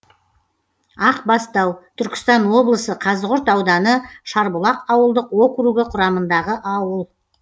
ақбастау түркістан облысы қазығұрт ауданы шарбұлақ ауылдық округі құрамындағы ауыл